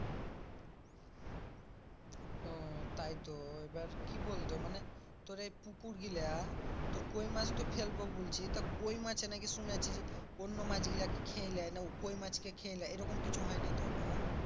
ও তাই তো, এবার কি বলতো মানে তোর এই পুকুর গুলা তোর কই মাছ তো ফেলবো বলছি তা কই মাছে নাকি শুনেছি অন্য মাছ গুলাকে খেয়ে লেই না কই মাছকে খেয়ে লেই এরকম কিছু হয় না তো আবার?